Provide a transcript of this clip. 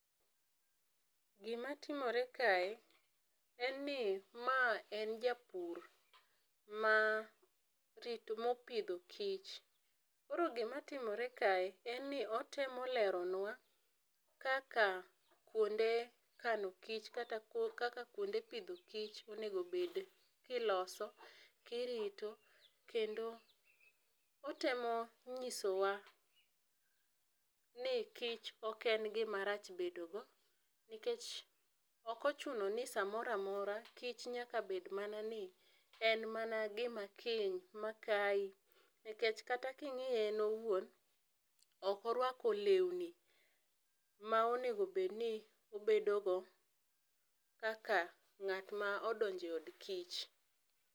Gi ma timore kae en ni ma en japur ma tich ma pidho kich, koro gi matimore kae en ni otemo leronwa kaka kuonde kano kich kaka kuonde pidho kich onego bed ki iloso ,irito kendo otemo ng'iso wa ni kich ok en gi ma rach bedo go, nikech ok ochuno ni sa moro amora kich nyaka bed mana ni en ma na gi ma kiny ma kai nikech kata ki ingiye en owuon ok orwako lewni ma onego bed ni obed go kaka ng'at ma odonje od kich.